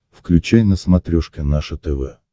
включай на смотрешке наше тв